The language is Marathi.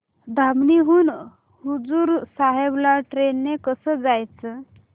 धामणी हून हुजूर साहेब ला ट्रेन ने कसं जायचं